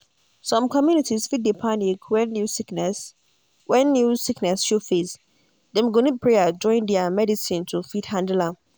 some communities fit dey panic when new sickness when new sickness show face. dem go need prayer join di medicine to fit handle am.